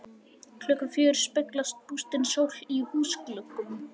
Klukkan fjögur speglast bústin sól í húsgluggum.